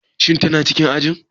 Shin tana cikin ajin?